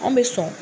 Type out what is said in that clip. An bɛ sɔn